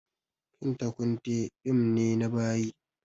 Kinta kunte fim ne na bayi